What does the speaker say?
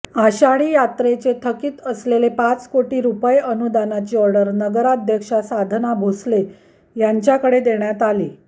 आषाढी यात्रेचे थकीत असलेले पाच कोटी रुपये अनुदानाची आर्डर नगराध्यक्षा साधना भोसले यांच्याकडे देण्यात आली